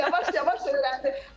Yavaş-yavaş öyrəndi.